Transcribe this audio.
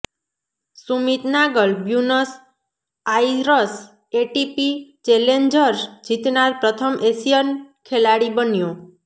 Sumit Nagal Buenos Aires ATP challengers જીતનાર પ્રથમ Asian ખેલાડી બન્યો